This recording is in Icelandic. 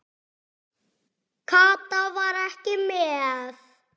Kata var ekki með.